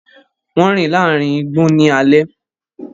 Wọn rin laarin igbo ni alẹ